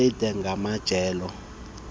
elide ngamajelo eendaba